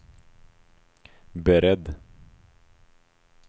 beredd